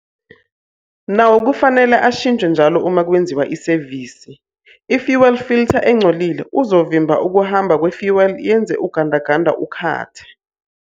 Nawo kufanele ashintshwe njalo uma kwenziwa isevisi. I-fuel filter engcolile uzovimba ukuhamba kwe-fuel yenze ugandaganda ukhathe.